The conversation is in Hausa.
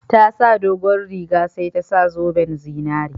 Ta saka dogon riga sai ta sa zoben zinari